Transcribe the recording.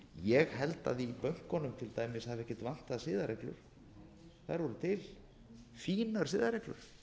ég held að í bönkunum til dæmis hafi ekkert vantað siðareglur þær voru til fínar siðareglur